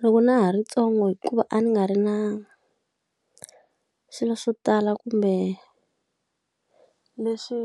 Loko na ha ri ntsongo hikuva a ni nga ri na swilo swo tala kumbe leswi